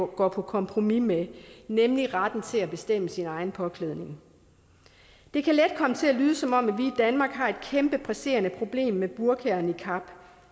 går på kompromis med nemlig retten til at bestemme sin egen påklædning det kan let komme til at lyde som om vi i danmark har et kæmpe presserende problem med burka og niqab